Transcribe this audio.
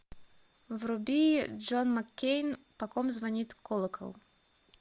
вруби джон маккейн по ком звонит колокол